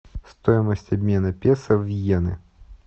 стоимость обмена песо в йены